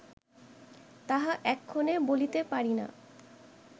তাহা এক্ষণে বলিতে পারি না